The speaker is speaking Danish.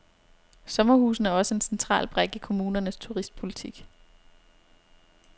Sommerhusene er også en central brik i kommunernes turistpolitik.